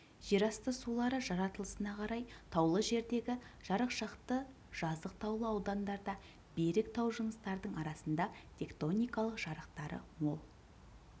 жер асты сулары жаратылысына қарай таулы жердегі жарықшақты жазық таулы аудандарда берік тау жыныстардың арасында тектоникалық жарықтары мол